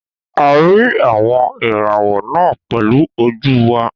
A rí àwọn ìràwọ̀ náà pẹ̀lú ojú wa